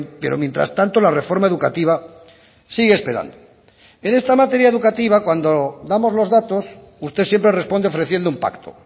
pero mientras tanto la reforma educativa sigue esperando en esta materia educativa cuando damos los datos usted siempre responde ofreciendo un pacto